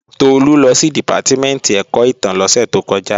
Tolú lọ sí Dìpátímẹ̀ntì ẹ̀kọ́ ìtàn lósẹ̀ tó kọjá